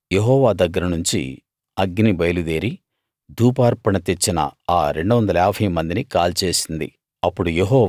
అప్పుడు యెహోవా దగ్గర నుంచి అగ్ని బయలుదేరి ధూపార్పణ తెచ్చిన ఆ 250 మందిని కాల్చేసింది